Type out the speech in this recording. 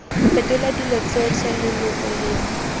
fetola dilo tsotlhe leloko lengwe